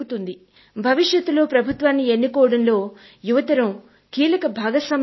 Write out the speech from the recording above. భవిష్యత్ లో ప్రభుత్వాన్ని ఎన్నుకోవడంలో యువతరం కీలక భాగస్వామ్యం ఉంటుంది